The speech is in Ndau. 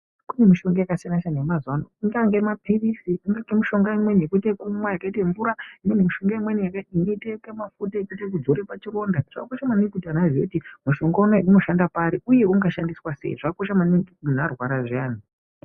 Kune mishonga yakasiyana may mazuvano ingava mapirisi ingava imwne yekumwa yakaitevura ingava imweni yakaita mafuta ekuzora pachironda zvakosha maningi kuti anhu azive kuti mushonga unouyu unoshanda pari zvakosha maningi munhu arwara zviyana .